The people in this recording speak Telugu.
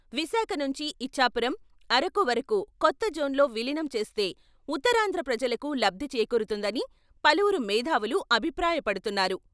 విశాఖ నుంచి ఇచ్ఛాపురం, అరకు వరకూ కొత్త జోన్లో విలీనం చేస్తే ఉత్తరాంధ్ర ప్రజలకు లబ్ధి చేకూరుతుందని పలువురు మేథావులు అభిప్రాయపడుతున్నారు.